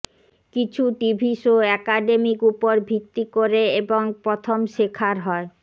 কিছু TV show academic উপর ভিত্তি করে এবং প্রথম শেখার হয়